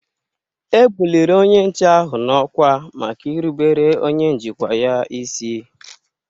E buliri onye nche ahụ n'ọkwá maka irubere onye njikwa ya isi